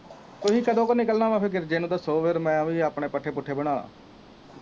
ਤੁਸੀਂ ਕਦੋ ਕ ਨਿਕਲਨਾ ਵਾ ਗਿਰਜੇ ਨੂੰ ਦਸੋ ਫੇਰ ਮੈਂ ਓਹੀ ਆਪਣੇ ਪੱਠੇ ਪੁੱਠੇ ਬਣਾ